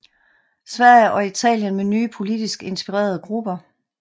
Sverige og Italien med nye politisk inspirerede grupper